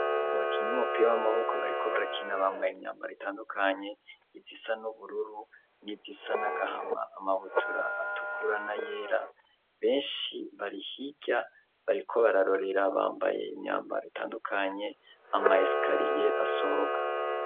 abakinyi bumupira w'amaboko bariko barakina bambaye imyambaro itandukanye izisa n'ubururu n'izisa n'agahama, amabutura atukurana, yera benshi barihirya bariko bararorera bambaye imyambaro itandukanye amesikariye asohoka.